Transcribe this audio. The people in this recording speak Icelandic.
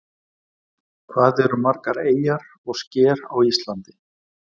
Hvað eru margar eyjar og sker á Íslandi?